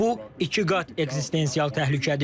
Bu ikiqat ekzistensial təhlükədir.